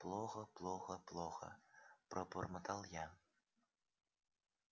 плохо плохо плохо пробормотал я